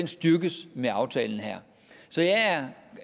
styrkes med aftalen her så jeg er